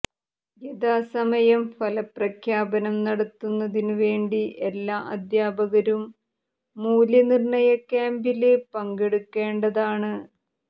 യഥാസമയം ഫലപ്രഖ്യാപനം നടത്തുന്നതിന് വേണ്ടി എല്ലാ അധ്യാപകരും മൂല്യനിര്ണ്ണയ ക്യാംപില് പങ്കെടുക്കേണ്ടതാണ്